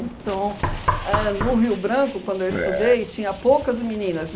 Então, ãh no Rio Branco, quando eu estudei, tinha poucas meninas.